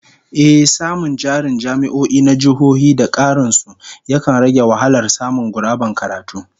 Ehh, samun jarin jami'o'i na jihohi da karin su, yakan rage wahalar samun guraben karatu